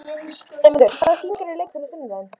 Eymundur, hvaða sýningar eru í leikhúsinu á sunnudaginn?